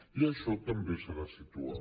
i això també s’ha de situar